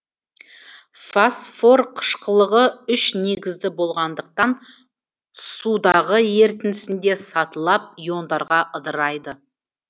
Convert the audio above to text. фосфор қышқылы үш негізді болғандықтан сұдағы ерітіндісінде сатылап иондарға ыдырайды